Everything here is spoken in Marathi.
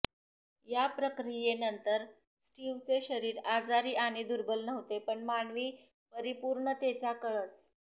या प्रक्रियेनंतर स्टीव्हचे शरीर आजारी आणि दुर्बल नव्हते पण मानवी परिपूर्णतेचा कळस